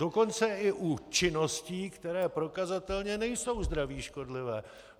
Dokonce i u činností, které prokazatelně nejsou zdraví škodlivé.